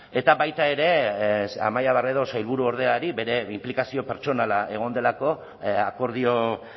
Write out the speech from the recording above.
eta baita ere amaia barredo sailburuordeari bere inplikazio pertsonala egon delako akordio